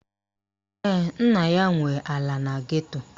Ee, nna ya nwe ala na geto